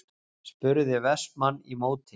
spurði Vestmann í móti.